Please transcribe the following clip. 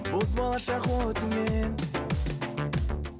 боз болашақ отыңмен